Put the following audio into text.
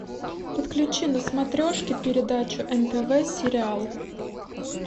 подключи на смотрешке передачу нтв сериал